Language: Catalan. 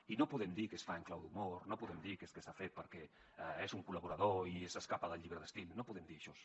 i no podem dir que es fa en clau d’humor no podem dir que és que s’ha fet perquè és un col·laborador i s’escapa del llibre d’estil no podem dir això